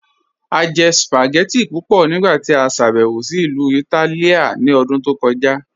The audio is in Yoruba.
A jẹ̀ spagẹttì pupọ nigbati a ṣàbẹwo sí Ilu Ìtálìà ní òdún tó kọja.